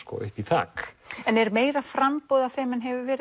upp í þak en er meira framboð af þeim en hefur verið